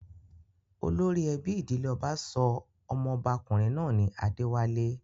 Olórí ẹbí ìdílé ọba sọ ọmọba-kùnrin náà ní 'Adéwálé'.